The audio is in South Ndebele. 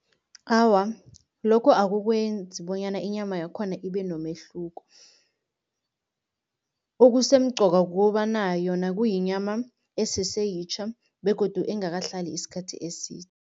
Awa, lokho akukwenzi bonyana inyama yakhona ibe nomehluko. Okusemqoka kukobana yona kuyinyama eseseyitjha begodu engakahlali isikhathi eside.